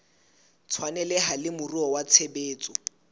tshwaneleha le moruo wa tshebetso